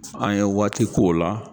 An ye waati k'o la.